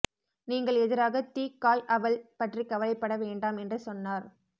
நீங்கள் எதிராக தி காய் அவள் பற்றி கவலைப்பட வேண்டாம் என்று சொன்னார்